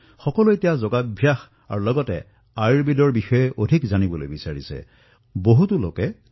সকলো স্থানতে জনসাধাৰণে যোগ আৰু ইয়াৰ সৈতে আয়ুৰ্বেদৰ বিষয়ে অধিক জানিবলৈ বিচাৰিছে ইয়াক আঁকোৱালি লব বিচাৰিছে